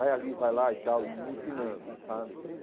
Vai ali, vai lá e tal, e me ensinando sabe.